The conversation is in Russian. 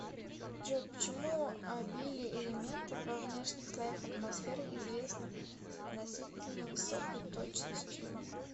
джой почему обилие элементов во внешних слоях атмосферы известно с относительно высокой точностью